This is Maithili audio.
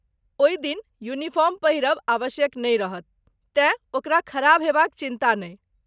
ओहि दिन यूनिफार्म पहिरब आवश्यक नै रहत तेँ ओकरा खराब होबाक चिन्ता नहि।